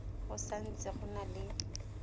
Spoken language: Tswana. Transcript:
go santse go na le